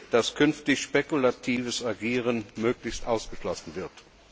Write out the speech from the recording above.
dass künftig spekulatives Agieren möglichst ausgeschlossen wird?